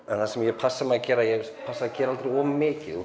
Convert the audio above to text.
það sem ég passa mig að gera ég passa mig að gera aldrei of mikið